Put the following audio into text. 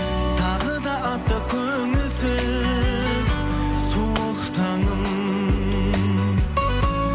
тағы да атты көңілсіз суық таңым